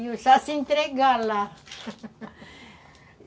Iam só se entregar lá